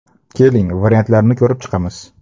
Keling, variantlarni ko‘rib chiqamiz.